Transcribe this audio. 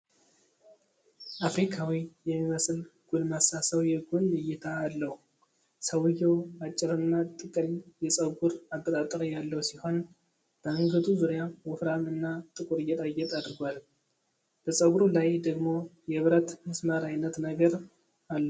አፍሪካዊ የሚመስል ጎልማሳ ሰው የጎን እይታ አለው። ሰውዬው አጭርና ጥቅል የፀጉር አበጣጠር ያለው ሲሆን በአንገቱ ዙሪያ ወፍራም እና ጥቁር ጌጣጌጥ አድርጓል። በፀጉሩ ላይ ደግሞ የብረት ሚስማር አይነት ነገር አለው።